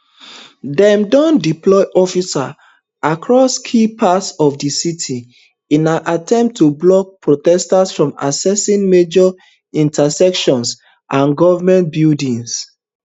dem don deploy officers across key parts of di city in an attempt to block protesters from accessing major intersections and government buildings